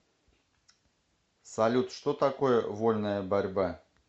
салют что такое вольная борьба